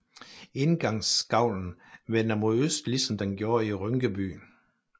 Indgangsgavlen vender mod øst ligesom den gjorde i Rynkeby